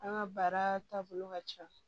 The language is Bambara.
An ka baara taabolo ka ca